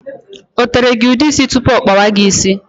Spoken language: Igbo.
O tere gị ude ísì tụpụ ọ kpawa gị ịsị?